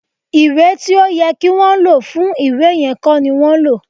Ìwé tí ó yẹ kí wọn lò fún ìwé yẹn kọ́ ni wọ́n lò